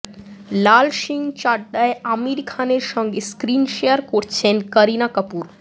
লাল সিং চাড্ডায় আমির খানের সঙ্গে স্ক্রিন শেয়ার করছেন করিনা কাপুর